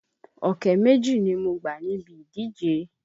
Ọ̀kẹ́ méjì ni mo gbà níbi ìdíje.